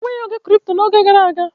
E nweghị ego kripto n'oge gara aga.